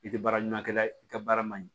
I tɛ baara ɲuman kɛ i ka baara man ɲi